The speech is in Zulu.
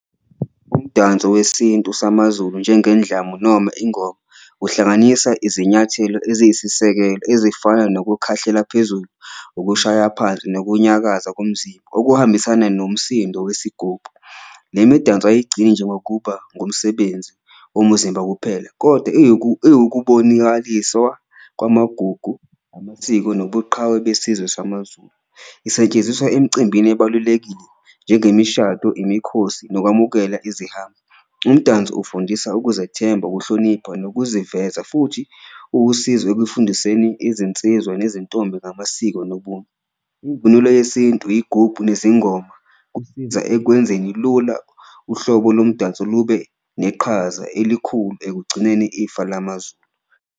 Umdanso wesintu samaZulu njengendlamu noma ingoma uhlanganisa izinyathelo eziyisisekelo ezifana nokukhahlela phezulu, ukushaya phansi nokunyakaza komzimba okuhambisana nomsindo wesigubhu. Le midanso ayigcini nje ngokuba ngumsebenzi womuzimba kuphela kodwa iwukubonakaliswa kwamagugu, amasiko nobuqhawe besizwe samaZulu, isetshenziswa emcimbini ebalulekile njengemishado, imikhosi nokwamukela izihambi. Umdanso ufundisa ukuzethemba, ukuhlonipha, nokuziveza futhi uwusizo ekufundiseni izinsizwa nezintombi ngamasiko nobunye, imvunulo yesintu, iyigubhu nezingoma kusiza ekwenzeni lula uhlobo lomdanso lube neqhaza elikhulu ekugcineni ifa lamaZulu.